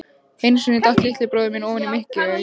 Einu sinni datt litli bróðir minn ofan í mykjuhaug.